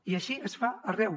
i així es fa arreu